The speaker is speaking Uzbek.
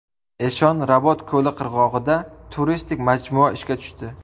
Eshon Rabot ko‘li qirg‘og‘ida turistik majmua ishga tushdi.